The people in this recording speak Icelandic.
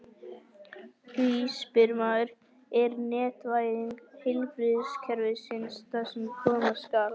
Því spyr maður: Er netvæðing heilbrigðiskerfisins það sem koma skal?